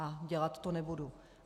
A dělat to nebudu.